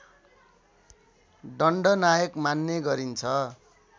दण्डनायक मान्ने गरिन्छ